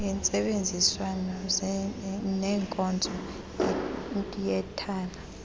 ngentsebenziswano nenkonzo yethala